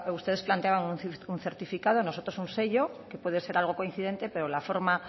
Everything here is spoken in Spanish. ustedes planteaban un certificado nosotros un sello que puede ser algo coincidente pero la forma